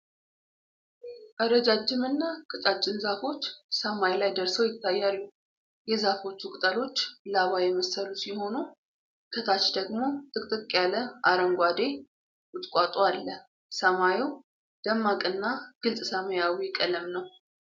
ረጃጅም እና ቀጫጭን ዛፎች ሰማይ ላይ ደርሰው ይታያሉ። የዛፎቹ ቅጠሎች ላባ የመሰሉ ሲሆኑ፣ ከታች ደግሞ ጥቅጥቅ ያለ አረንጓዴ ቁጥቋጦ አለ። ሰማዩ ደማቅና ግልጽ ሰማያዊ ቀለም ነው።